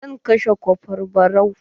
Zan kashe kofra barau.